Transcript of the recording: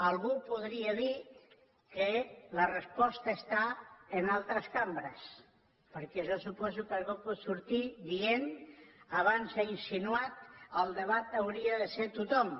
algú podria dir que la resposta està en altres cambres perquè jo suposo que algú pot sortir dient abans s’ha insinuat al debat hi hauria de ser a tothom